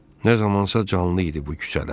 Nə zamansa canlı idi bu küçələr.